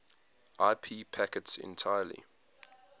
ip packets entirely